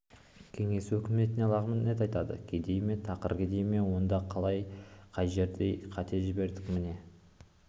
кеңес өкіметіне лағынет айтады кедей ме тақыр кедей ме онда қалай қай жерден қате жібердік міне